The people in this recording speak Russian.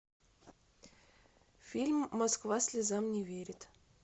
фильм москва слезам не верит